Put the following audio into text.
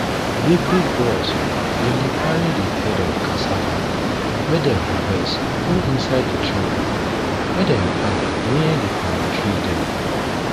big big bros bin dey carry di head of cassava wey dem harvest go inside di truck wey dem park near di palm tree dem